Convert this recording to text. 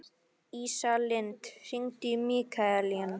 Ísalind, hringdu í Mikkalín.